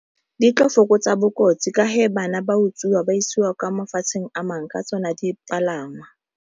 Di ka fokotsa bokotsi ka he bana ba utswiwa ba isiwa kwa mafatsheng a mangwe ka tsona dipalangwa.